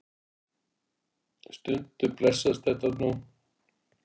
Stundum blessast þetta nú.